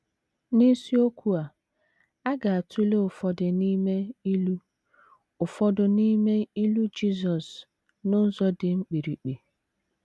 ” N’isiokwu a, a ga - atụle ụfọdụ n’ime ilu ụfọdụ n’ime ilu Jizọs n’ụzọ dị mkpirikpi.